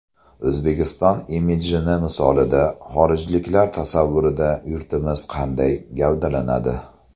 O‘zbekiston imidjini misolida xorijliklar tasavvurida yurtimiz qanday gavdalanadi?